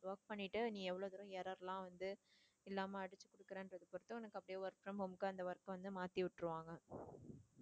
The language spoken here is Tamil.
work பண்ணிட்டு நீ எவ்ளோ தூரம் error லாம் வந்து இல்லாம அடிச்சுக்கொடுக்குறேன்றதை பொறுத்து உனக்கு அப்டியே work from home க்கு அந்த work அ வந்து மாத்தி விட்டுருவாங்க.